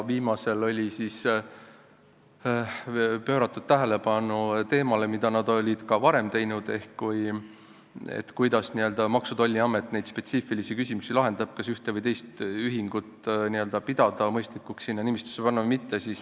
Viimati mainitu oli juhtinud tähelepanu teemale, millele nad olid ka varem tähelepanu juhtinud, et kuidas Maksu- ja Tolliamet lahendab neid spetsiifilisi küsimusi, kas pidada mõistlikuks, et üks või teine ühing sinna nimistusse panna või mitte.